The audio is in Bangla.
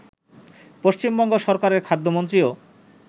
পশ্চিমবঙ্গ সরকারের খাদ্যমন্ত্রীও